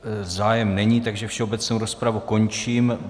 Zájem není, takže všeobecnou rozpravu končím.